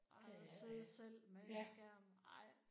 Og at sidde selv med en skærm ej